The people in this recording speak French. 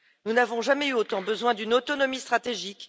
Nous n'avons jamais eu autant besoin d'une autonomie stratégique.